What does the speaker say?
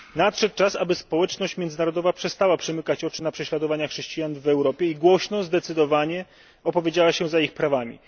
Nadszedł czas, aby społeczność międzynarodowa przestała przymykać oczy na prześladowania chrześcijan w Europie i głośno, zdecydowanie opowiedziała się za ich prawami.